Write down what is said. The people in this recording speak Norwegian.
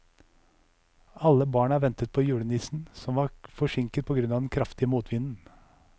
Alle barna ventet på julenissen, som var forsinket på grunn av den kraftige motvinden.